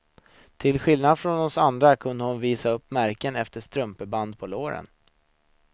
Till skillnad från oss andra kunde hon visa upp märken efter strumpeband på låren.